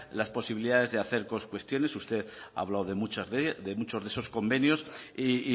las posibilidades de hacer cuestiones usted ha hablado de muchos de esos convenios y